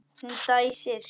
Hún dæsir.